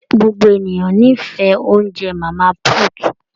Gbogbo ènìyàn n'ifẹ oúnjẹ màmá put.